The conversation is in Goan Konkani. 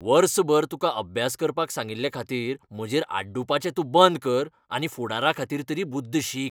वर्सभर तुका अभ्यास करपाक सांगिल्लेखातीर म्हजेर आड्डूपाचे तूं बंद कर आनी फुडाराखातीर तरी बुद्द शीक.